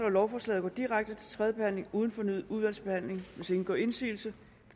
lovforslaget går direkte til tredje behandling uden fornyet udvalgsbehandling hvis ingen gør indsigelse